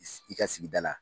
Is, i ka sigida la.